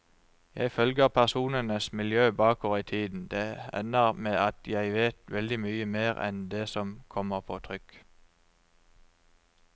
Jeg følger personenes miljø bakover i tiden, det ender med at jeg vet veldig mye mer enn det som kommer på trykk.